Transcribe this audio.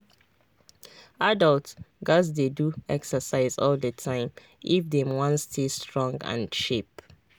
adults gats dey do exercise all the time if dem wan stay strong and sharp.